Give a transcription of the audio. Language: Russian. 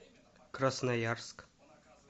красноярск